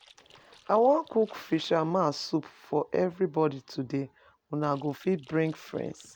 I wan cook fisherman soup for everybody today. Una go fit bring friends.